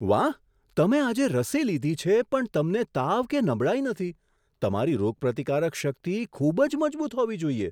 વાહ! તમે આજે રસી લીધી છે પણ તમને તાવ કે નબળાઈ નથી. તમારી રોગપ્રતિકારક શક્તિ ખૂબ જ મજબૂત હોવી જોઈએ!